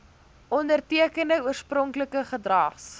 ondertekende oorspronklike gedrags